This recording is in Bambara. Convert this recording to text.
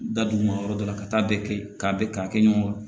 Da dugu ma yɔrɔ dɔ la ka taa bɛɛ kɛ yen k'a bɛɛ k'a kɛ ɲɔgɔn kan